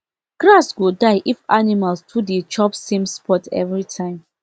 grass go die if animals too dey chop same spot every time